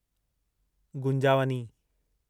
गुंजावनी